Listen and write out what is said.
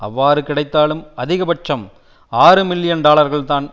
அவ்வாறு கிடைத்தாலும் அதிக பட்சம் ஆறு மில்லியன் டாலர்கள்தான்